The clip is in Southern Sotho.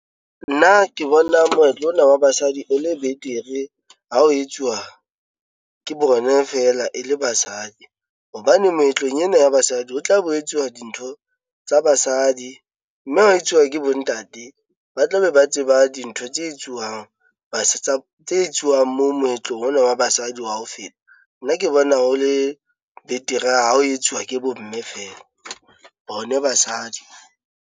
Nna ke bona moetlo ona wa basadi e le betere ha ho etsuwa ke bone feela e le basadi. Hobane moetlong ena ya basadi ho tla bo etsuwa dintho tsa basadi. Mme ha o etsuwa ke bo ntate, ba tla be ba tseba dintho tse etsuwang ba se tsa tse etsuwang mo moetlong ona wa basadi wa ho feta. Nna ke bona ho le betere ha ho etsuwa ke bo mme feela bone basadi.